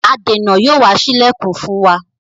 adèna Yóò wá sí ilẹkùn fún wá.